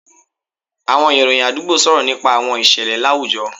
Àwọn ìròyìn àdúgbò sọ̀rọ̀ nípa àwọn ìṣẹ̀lẹ̀ láwùjọ